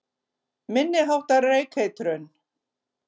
Minni háttar reykeitrun